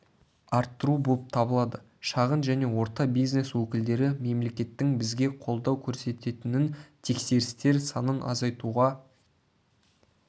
арттыру болып табылады шағын және орта бизнес өкілдері мемлекеттің бізге қолдау көрсететінін тексерістер санын азайтуға